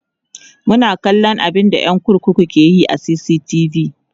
suna kallan abunda ƴan kurkukun ke Yi a CCTV